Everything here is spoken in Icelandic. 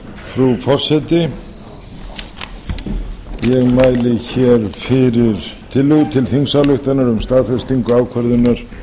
frú forseti ég mæli fyrir tillögu til þingsályktunar um staðfestingu ákvörðunar